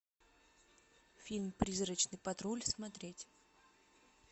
фильм призрачный патруль смотреть